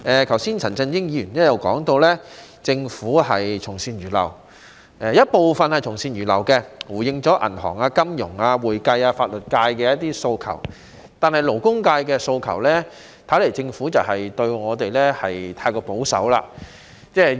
剛才陳振英議員也提到，政府的做法部分是從善如流，例如回應了銀行、金融、會計及法律界的一些訴求，但對我們勞工界的訴求，政府的回應似乎太過保守。